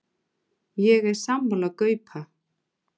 Ég er sammála Gaupa.